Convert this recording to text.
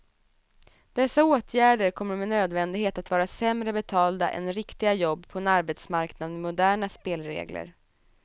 Dessa åtgärder kommer med nödvändighet att vara sämre betalda än riktiga jobb på en arbetsmarknad med moderna spelregler.